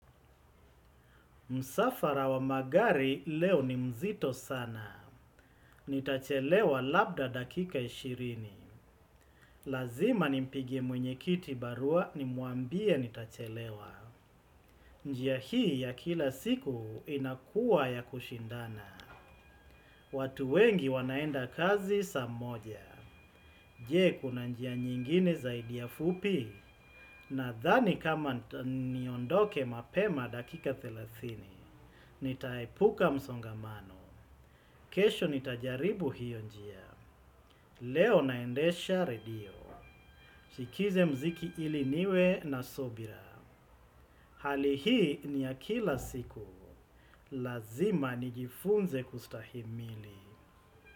Musafara wa magari leo ni mzito sana. Nitachelewa labda dakika ishirini. Lazima nimpigie mwenye kiti barua nimuambia nitachelewa. Njia hii ya kila siku inakua ya kushindana. Watu wengi wanaenda kazi saa moja. Je, kuna njia nyingine zaidi ya fupi. Nadhani kama niondoke mapema dakika thelathini. Nitaepuka msongamano. Kesho nitajaribu hiyo njia, leo naendesha redio, chikize mziki ili niwe na sobira, hali hii ni ya kila siku, lazima nijifunze kustahimili.